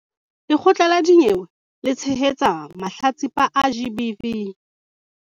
Lekgotla la dinyewe le tshehetsa mahlatsipa a GBV